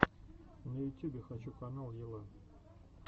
на ютюбе хочу канал яла